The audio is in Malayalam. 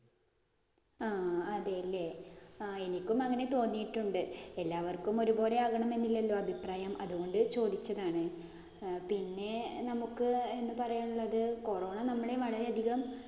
ആ അതെ ല്ലേ എനിക്കും അങ്ങനെ തോന്നിയിട്ടുണ്ട്. എല്ലാവര്‍ക്കും ഒരുപോലെ ആകണമെന്നില്ലല്ലോ അഭിപ്രായം. അത് കൊണ്ട് ചോദിച്ചതാണ്. പിന്നെ നമുക്ക് എന്ത് പറയാന്‍ ഉള്ളത് corona നമ്മളെ വളരെയധികം